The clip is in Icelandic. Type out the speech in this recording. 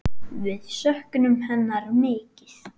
Við söknum hennar mikið.